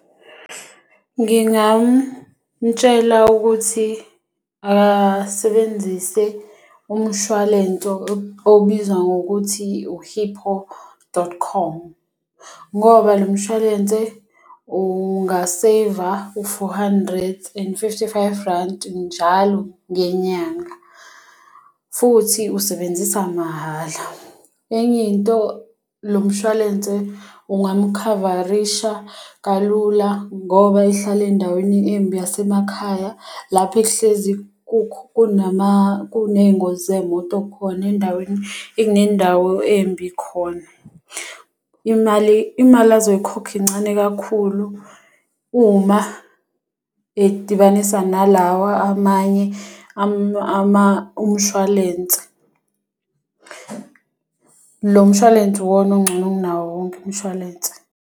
Ngingamtshela ukuthi asebenzise umshwalense obizwa ngokuthi u-Hippo dot com. Ngoba lo mshwalense unga-saver u-four hundred and fifty-five rand njalo ngenyanga. Futhi usebenzisa mahhala. Enye into lo mshwalense ungamukhavarisha kalula ngoba ehlala endaweni embi yasemakhaya. Lapho ekuhlezi kunama kuney'ngozi zey'moto khona endaweni ekunendawo embi khona. Imali imali ozoyikhokha incane kakhulu uma edibanisa nalawa amanye umshwalense. Lo mshwalense iwona ongcono kunawo wonke umshwalense.